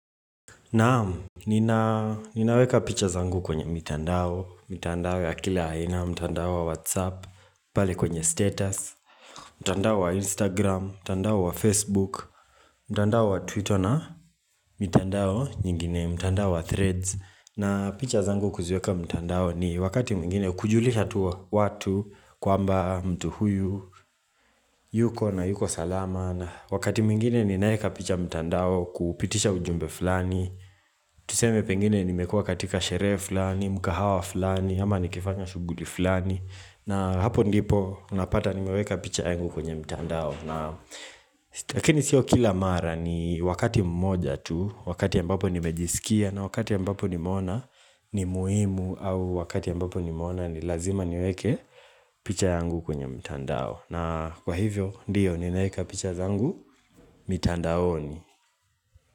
Naam, nina ninaweka picha zangu kwenye mitandao, mitandao ya kila aina, mtandao wa whatsapp, pale kwenye status, mtandao wa instagram, mtandao wa facebook, mtandao wa twitter na mitandao nyingine, mtandao wa threads na picha zangu kuziweka mtandaoni wakati mwingine kujulisha tu watu kwamba mtu huyu, yuko na yuko salama na wakati mwingine ninaeka picha mtandao kupitisha ujumbe fulani Tuseme pengine nimekuwa katika sherehe fulani, mkahawa fulani, ama nikifanya shughuli fulani na hapo ndipo unapata nimeweka picha yangu kwenye mtandao Lakini sio kila mara, ni wakati mmoja tu. Wakati ambapo nimejisikia na wakati ambapo nimeona ni muhimu au wakati ambapo nimeona ni lazima niweke picha yangu kwenye mtandao, na kwa hivyo ndio ninaeka picha zangu mitandaoni.